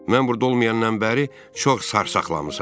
Mən burda olmayandan bəri çox sarsaxlamısan.